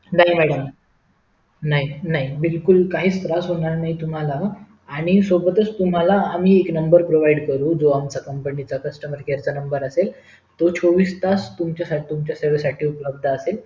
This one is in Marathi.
नाही madam नाही नाही बिलकुल काहीच त्रास होणार नाही तुम्हाला आणि सोबतच आम्ही तुम्हाला आम्ही एक नंबर provide करु जो आमचा company चा customer care असेल तो चोवीस तास तुमच्या सेवेसाठी उपलब्ध असेल